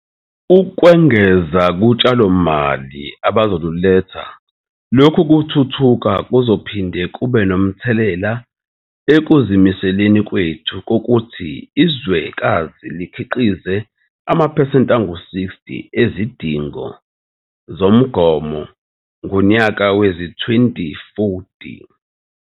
Ukwengeza kutshalomali abazoluletha, lokhu kuthuthuka kuzophinde kube nomthelela ekuzimiseleni kwethu kokuthi izwekazi likhiqize amaphesenti angu-60 ezidingo zalo zomgomo ngowezi-2040.